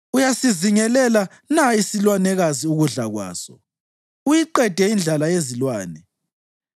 Uyasizingelela na isilwanekazi ukudla kwaso, uyiqede indlala yezilwane